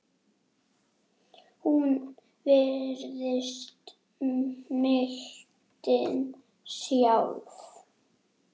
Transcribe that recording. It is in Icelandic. Hún virðist mildin sjálf.